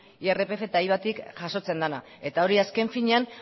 irpf eta ivatik jasotzen dena eta hori azken finean